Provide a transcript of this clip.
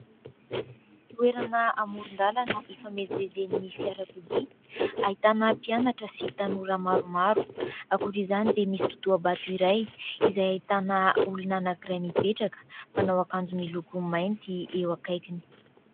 Toerana amoron-dalana hifamezivezen'ny fiarakodia, ahitana mpianatra sy tanora maromaro akoatra izany dia misy totoha-bato iray izay ahitana olona anankiray mipetraka manao akanjo miloko mainty eo akaikiny.